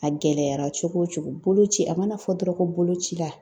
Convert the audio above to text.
A gɛlɛyara cogo o cogo, boloci a mana fɔ dɔrɔn ko boloci la.